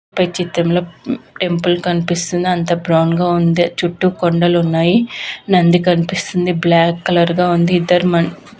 పై చిత్రంలో టెంపుల్ కనిపిస్తుంది. అంతా బ్రౌన్ గా ఉంది. చుట్టూ కొండలు ఉన్నాయి నంది కనిపిస్తుంది బ్లాక్ కలర్ గా ఉంది --